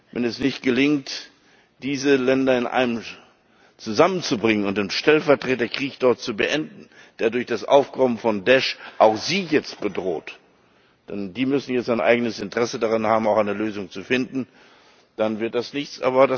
Wenn es nicht gelingt, diese Länder zusammenzubringen und den Stellvertreterkrieg dort zu beenden, der durch das Aufkommen von Daish auch sie jetzt bedroht denn sie müssen jetzt ein eigenes Interesse daran haben, eine Lösung zu finden dann wird das nichts.